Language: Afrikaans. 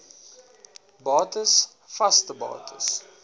bates vaste bates